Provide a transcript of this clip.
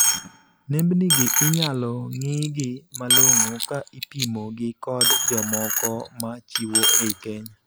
Nembni gi inyalo ng'iigi malong'o ka ipimo gi kod jomoko ma chiwo ei Kenya.